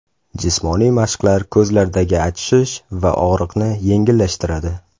Jismoniy mashqlar ko‘zlardagi achishish va og‘riqni yengillashtiradi.